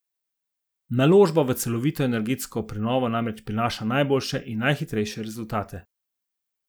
Naložba v celovito energetsko prenovo namreč prinaša najboljše in najhitrejše rezultate.